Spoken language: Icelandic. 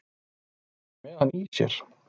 Hann er með hann í sér.